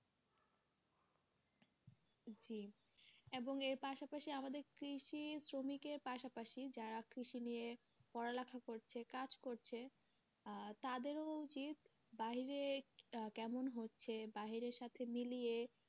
জি এবং এর পাশাপাশি আমাদের কৃষি শ্রমিকের পাশাপাশি যারা কৃষি নিয়ে পড়া লেখা করছে কাজ করছে আহ তাদেরও উচিৎ বাহিরে কেমন হচ্ছে বাহিরের সাথে মিলিয়ে,